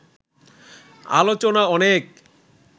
আলোচনা অনেক